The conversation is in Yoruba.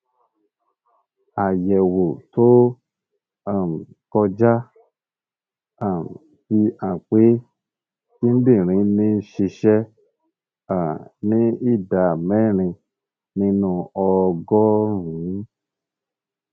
àyẹwò tó um kọjá um fi hàn pé kíndìnrín ń ṣiṣẹ um ní ìdá mẹrin nínú ọgọrùnún